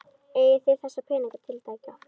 Eigið þið þessa peninga tiltæka?